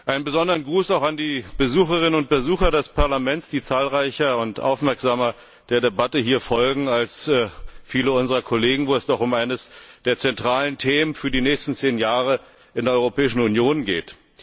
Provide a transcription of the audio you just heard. Einen besonderen Gruß auch an die Besucherinnen und Besucher des Parlaments, die der Debatte hier zahlreicher und aufmerksamer folgen als viele unserer Kollegen, wo es doch um eines der zentralen Themen für die nächsten zehn Jahre in der Europäischen Union geht.